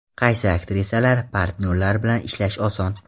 Qaysi aktrisalar, partnyorlar bilan ishlash oson?